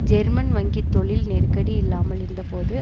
German வங்கி தொழில் நெருக்கடி இல்லாமல் இருந்த போது